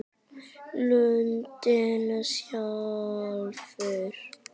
Lundinn sjálfur